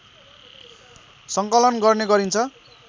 सङ्कलन गर्ने गरिन्छ